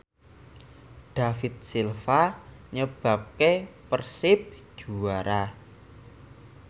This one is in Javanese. David Silva nyebabke Persib juara